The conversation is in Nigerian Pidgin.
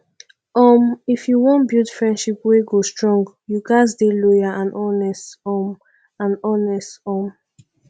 um if you wan build friendship wey go strong you ghas dey loyal and honest um and honest um